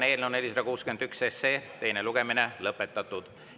Eelnõu 461 teine lugemine on lõpetatud.